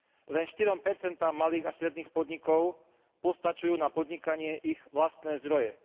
Len štyrom percentám malých a stredných podnikov postačujú na podnikanie ich vlastné zdroje.